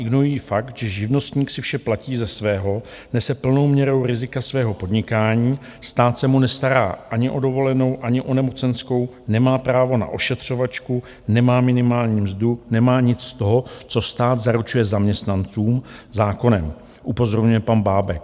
Ignorují fakt, že živnostník si vše platí ze svého, nese plnou měrou rizika svého podnikání, stát se mu nestará ani o dovolenou ani o nemocenskou, nemá právo na ošetřovačku, nemá minimální mzdu, nemá nic z toho, co stát zaručuje zaměstnancům zákonem", upozorňuje pan Bábek.